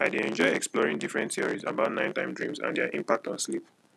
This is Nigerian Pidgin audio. i dey enjoy exploring different theories about nighttime dreams and their impact on sleep